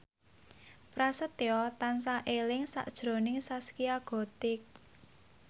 Prasetyo tansah eling sakjroning Zaskia Gotik